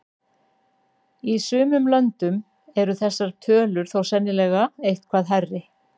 Í sumum löndum eru þessar tölur þó sennilega eitthvað hærri.